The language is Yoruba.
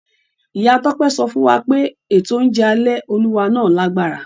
Ìyá Tọ́pẹ́ sọ fún wa pé ètò oúnjẹ alẹ́ Olúwa náà lágbára.